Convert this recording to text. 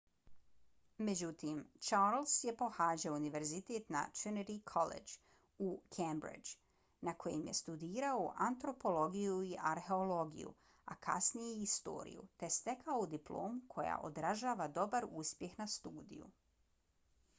međutim charles je pohađao univerzitet na trinity collegeu u cambridgeu na kojem je studirao antropologiju i arheologiju a kasnije i historiju te stekao diplomu koja odražava dobar uspjeh na studiju